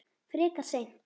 Frekar seint.